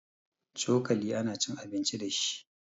Cokali ana cin abinci dashi